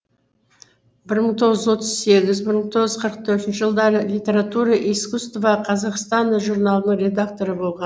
бір мың тоғыз жүз отыз сегіз бір мың тоғыз жүз қырық төртінші жылдары литература и искусство казахстана журналының редакторы болған